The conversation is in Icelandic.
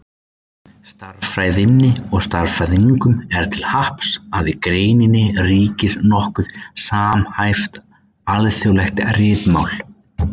Stærðfræðinni og stærðfræðingum er til happs að í greininni ríkir nokkuð samhæft, alþjóðlegt ritmál.